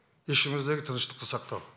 ішіміздегі тыныштықты сақтау